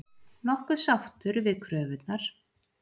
Nokkuð sáttur við kröfurnar